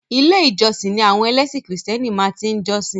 Ilé ìjósìn ni àwọn ẹlẹ́sìn krìstẹ́nì máa tí ń jọ́sìn.